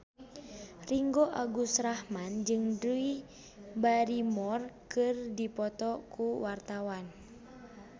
Ringgo Agus Rahman jeung Drew Barrymore keur dipoto ku wartawan